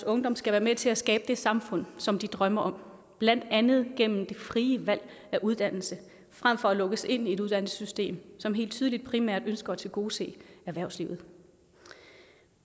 ungdommen skal være med til at skabe det samfund som de drømmer om blandt andet gennem det frie valg af uddannelse frem for at lukkes ind i et uddannelsessystem som helt tydeligt primært ønsker at tilgodese erhvervslivet